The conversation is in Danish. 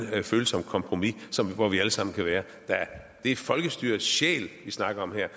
følsomt kompromis hvor vi alle sammen kan være det er folkestyrets sjæl vi snakker om her